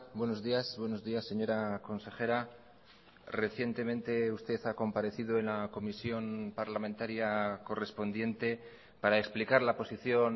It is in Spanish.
buenos días buenos días señora consejera recientemente usted ha comparecido en la comisión parlamentaria correspondiente para explicar la posición